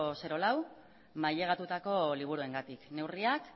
lau mailegatutako liburuengatik neurriak